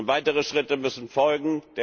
Weitere Schritte müssen folgen.